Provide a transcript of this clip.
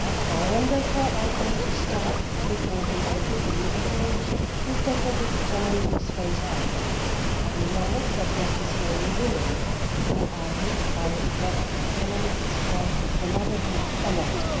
I am therefore open to start looking into a new approach to tackle the challenges faced by them. We know that it is mainly women who are hit by what the economists call the motherhood penalty'.